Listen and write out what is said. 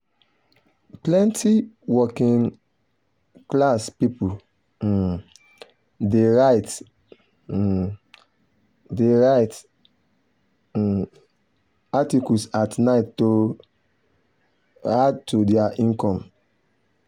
plenty working-class people um dey write um dey write um articles at night to um add to their income.